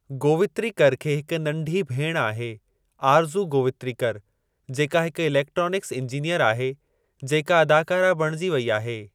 गोवित्रिकर खे हिक नंढी भेण आहे आरज़ू गोवित्रिकर जेका हिकु इलेक्ट्रोनिक्स इंजिनीअर आहे जेका अदाकारा बणिजी वेई आहे।